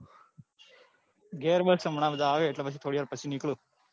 ઘર બસ હમણા બધા આવે એટલે પછી એટલે થોડી વાર પછી નીકળું.